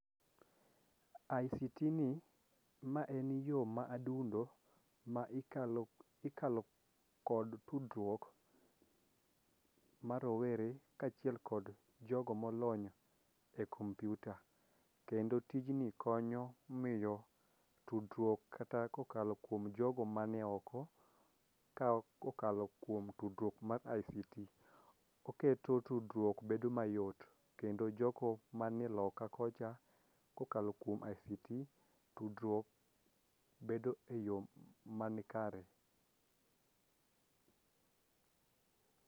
ICT ni ma en yoo ma adundo ma ikalo ikalo kod tudruok ma rowere kaachiel kod jogo molony e kompiuta. Kendo tijni konyo miyo tudruok kata kokalo kuom jogo man e oko kokalo kuom tudruok mar ICT. Oketo tudruok bedo mayot kendo jogo man e loka kocha kokalo kuom ICT, tudruok bedo e yoo manikare.